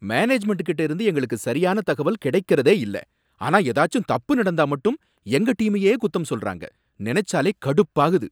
மேனேஜ்மெண்ட்கிட்ட இருந்து எங்களுக்கு சரியான தகவல் கிடைக்கறதே இல்ல, ஆனா ஏதாச்சும் தப்பு நடந்தா மட்டும் எங்க டீமையே குத்தம் சொல்றாங்க, நினைச்சாலே கடுப்பாகுது.